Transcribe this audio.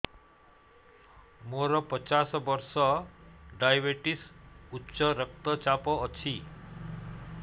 ମୋର ପଚାଶ ବର୍ଷ ଡାଏବେଟିସ ଉଚ୍ଚ ରକ୍ତ ଚାପ ଅଛି